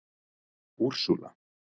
Úrsúla